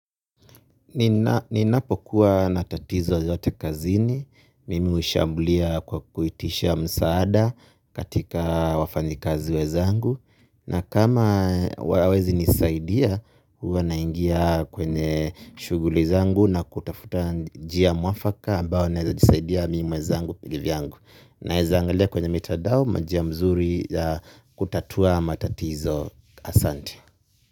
Ninapo kuwa na tatizo yoyote kazini, mimi ushambulia kwa kuitisha msaada katika wafanyikazi wezangu. Na kama wawezi nisaidia, huwa naingia kwenye shuguli zangu na kutafuta njia muafaka ambao naeza jisaidia mi mwezangu kivyangu. Naeza angalia kwenye mitadao, majia mzuri ya kutatua matatizo asante.